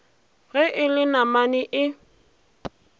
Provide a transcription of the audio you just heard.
ge e le namane e